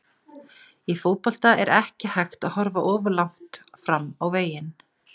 Í fótbolta er ekki hægt að horfa of langt fram á veginn.